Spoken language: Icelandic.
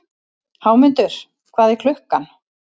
Hámundur, hvað er klukkan?